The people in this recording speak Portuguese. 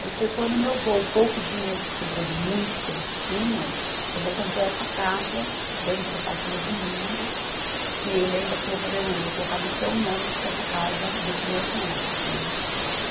Aí foi quando meu avô, o pouco dinheiro que sobrou do muito que eles tinham, meu avô comprou essa casa dentro do Parque Novo Mundo, que ele ainda falou para a minha mãe, vou colocar no teu nome, porque essa casa é dos meus netos, né?